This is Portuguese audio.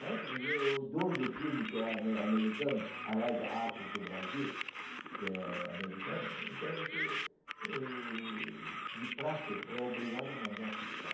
Mas aí o dono do filme, que é ame americano, Araya Arts do Brasil, que é americano, então esse hm... De praxe é obrigado a mandar um fiscal.